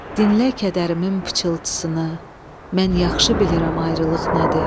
Dinlə kədərimin pıçıltısını, mən yaxşı bilirəm ayrılıq nədir.